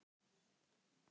Ertu sammála valinu?